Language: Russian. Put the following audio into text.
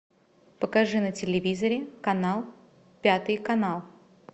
покажи на телевизоре канал пятый канал